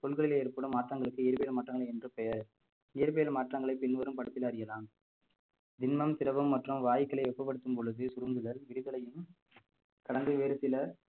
பொருட்களிள் ஏற்படும் மாற்றங்களுக்கு இயற்பியல் மாற்றங்கள் என்று பெயர் இயற்பியல் மாற்றங்களை பின்வரும் படத்தில் அறியலாம் திண்மம், திரவம் மற்றும் வாயுகளை வெப்பப்படுத்தும் பொழுது சுருங்குதல் விரிதலையும் கடந்து வேறு சில